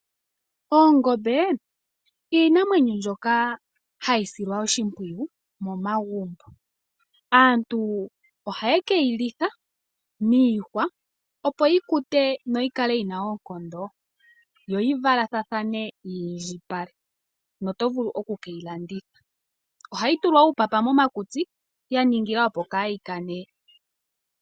Oongombe ndhika iinamwenyo mbyoka hayi silwa oshimpwiyu momagumbo . Aantu ohaye keyi litha miihwa opo yikute noyikale yina oonkondo, yo yivalathane yiindjipale, notovulu okukeyi landitha. Ohayi tulwa uupapa momakutsi ya ningilwa opo kaayi kane.